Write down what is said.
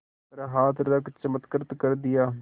पर हाथ रख चमत्कृत कर दिया